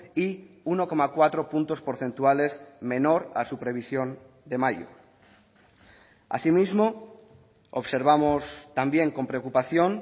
y uno coma cuatro puntos porcentuales menor a su previsión de mayo asimismo observamos también con preocupación